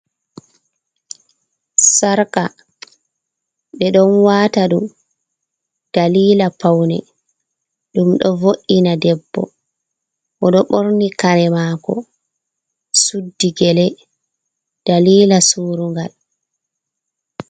Sarka ɓe ɗon wata ɗum dalila paune, ɗum do vo’ina debbo mo ɗo borni kare mako suddi gele dalila surungal.